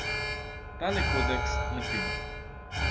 Tale kodeks, na primer.